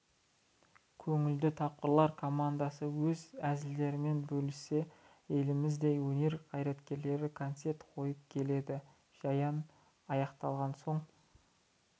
көңілді тапқырлар командасы өз әзілдерімен бөліссе еліміздің өнер қайраткерлері концерт қойып келеді жиын аяқталған соң